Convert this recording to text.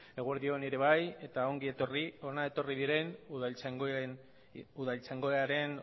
eguerdi on ere bai eta ongi etorri hona etorri diren udaltzaingoaren